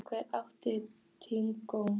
Elvin, áttu tyggjó?